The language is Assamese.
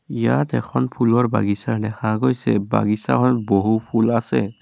ইয়াত এখন ফুলৰ বাগিছা দেখা গৈছে বাগিছাখন বহু ফুল আছে।